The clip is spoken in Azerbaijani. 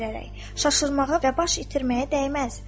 Şaşırmağa və baş itirməyə dəyməz.